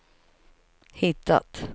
hittat